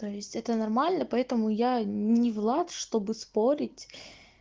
то есть это нормально поэтому я не влад чтобы спорить